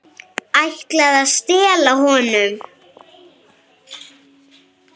Ætlaði að stela honum!